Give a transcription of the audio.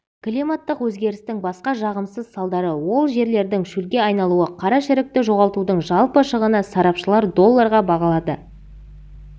климаттық өзгерістің басқа жағымсыз салдары ол жерлердің шөлге айналуы қарашірікті жоғалтудың жалпы шығынын сарапшылар долларға бағалады